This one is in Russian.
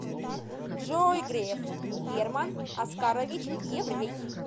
джой греф герман оскарович еврей